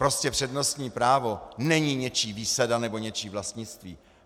Prostě přednostní právo není něčí výsada nebo něčí vlastnictví.